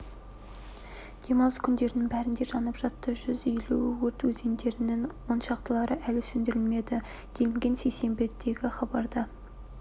демалыс күндерінің бәрінде жанып жатты жүз елу өрт көздерінің оншақтылары әлі сөндірілмеді делінген сейсенбідегі хабарда